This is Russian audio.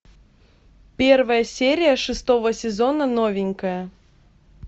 первая серия шестого сезона новенькая